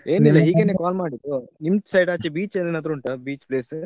ಏನಿಲ್ಲಾ ಹೀಗೇನೆ call ಮಾಡಿದ್ದು ನಿಮ್ side ಆಚೆ beach ಏನಾದ್ರು ಉಂಟಾ beach place ?